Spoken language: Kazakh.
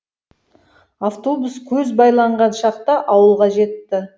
автобус көз байланған шақта ауылға жетті